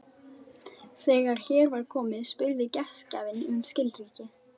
Þegar hér var komið spurði gestgjafinn um skilríki.